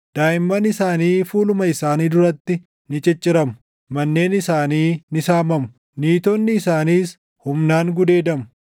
Daaʼimman isaanii fuuluma isaanii duratti ni cicciramu; manneen isaanii ni saamamu; // niitonni isaaniis humnaan gudeedamu.